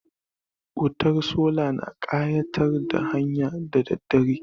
Wutar sola na ƙayatar da hanya da daddare.